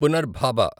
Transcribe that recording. పునర్భాబ